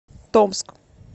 томск